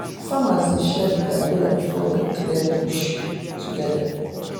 farmers dey share bitter kola before dem clear bush together.